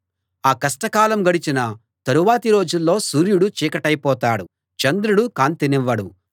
ఆ కష్టకాలం గడచిన తరువాతి రోజుల్లో సూర్యుడు చీకటైపోతాడు చంద్రుడు కాంతినివ్వడు